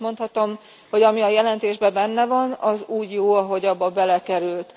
Azt is mondhatom, hogy ami a jelentésben benne van, az úgy jó, ahogy abba belekerült.